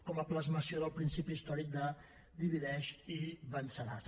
com a plasmació del principi històric de divideix i venceràs